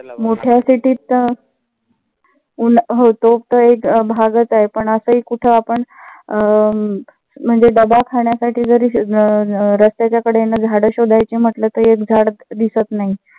मोठ्या city त हो तो तर एक भागच आहे. पण असेही कुठ आपण दवाखान्या साठी जरी रस्त्याच्या कडेन झाडं शोधायची म्हंटल तर एक झाड दिसत नाही.